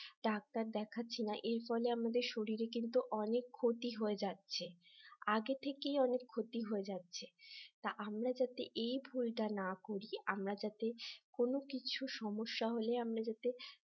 doctor দেখাচ্ছি না এর ফলে আমাদের শরীরে কিন্তু অনেক ক্ষতি হয়ে যাচ্ছে আগে থেকেই অনেক ক্ষতি হয়ে যাচ্ছে তা আমরা যাতে এই ভুলটা না করি আমরা যাতে কোন কিছু সমস্যা হলে আমরা যাতে